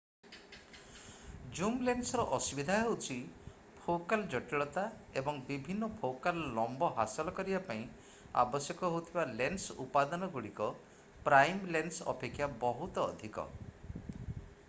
ଜୁମ ଲେନ୍ସର ଅସୁବିଧା ହେଉଛି ଫୋକାଲ ଜଟିଳତା ଏବଂ ବିଭିନ୍ନ ଫୋକାଲ ଲମ୍ବ ହାସଲ କରିବା ପାଇଁ ଆବଶ୍ୟକ ହେଉଥିବା ଲେନ୍ସ ଉପାଦାନ ଗୁଡିକ ପ୍ରାଇମ ଲେନ୍ସ ଅପେକ୍ଷା ବହୁତ ଅଧିକ